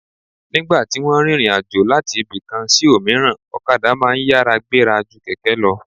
Nígbà tí wọ́n ń rìnrìn àjò láti ibì kan sí òmíràn, okadà máa ń yára gbéra ju kẹ̀kẹ́ lọ